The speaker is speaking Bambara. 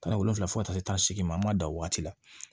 Kana wolonfila fo ka taa se taa se ma an ma da waati la